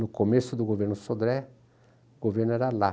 No começo do governo Sodré, o governo era lá.